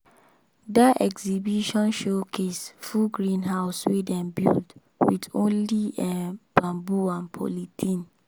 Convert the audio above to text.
that exhibition showcase full greenhouse wey dem build with only um bamboo and polythene.